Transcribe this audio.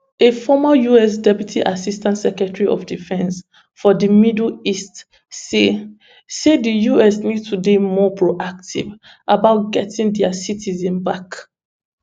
a former us deputy assistant secretary of defence for di middle east say say di us need to dey more proactive about getting dia citizens back